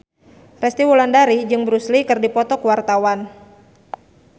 Resty Wulandari jeung Bruce Lee keur dipoto ku wartawan